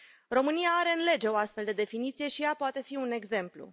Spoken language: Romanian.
România are în lege o astfel de definiție și ea poate fi un exemplu.